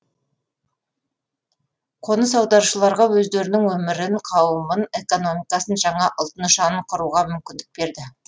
қоныс аударушыларға өздерінің өмірін қауымын экономикасын жаңа ұлт нышанын құруға мүмкіндік берді